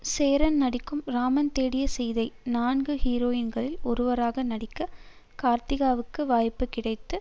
சேரன் நடிக்கும் ராமன் தேடிய சீதை நான்கு ஹீரோயின்களில் ஒருவராக நடிக்க கார்த்திகாவுக்கு வாய்ப்பு கிடைத்து